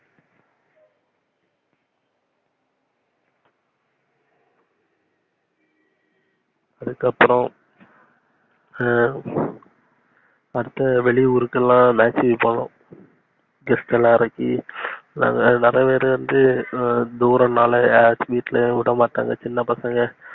அதுக்கு அப்புறம் அடுத்து வெளியூருக்குகெல்லாம் match க்கு போனோம். guest லாம் இறக்கி நாங்க நெறைய பேர் வந்து தூரம் நாலே வீட்டுல விடமட்டாங்க. சின்ன பசங்க